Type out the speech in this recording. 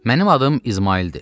Mənim adım İsmaildir.